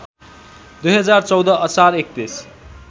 २०१४ असार ३१